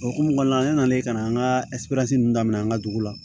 O hokumu kɔnɔna na ne nana ka na an ka daminɛ an ka dugu la